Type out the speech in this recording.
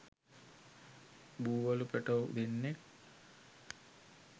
බූවලු පැටව් දෙන්නෙක්